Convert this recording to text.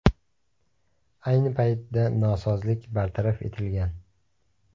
Ayni paytda nosozlik bartaraf etilgan.